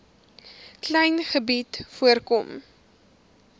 klein gebied voorkom